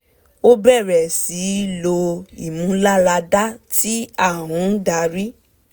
ó bẹ̀rẹ̀ sí í lo ìmúlàáradá tí a ń dari